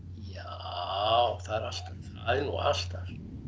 já það er nú alltaf